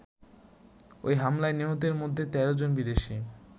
ওই হামলায় নিহতদের মধ্যে ১৩ জন বিদেশী।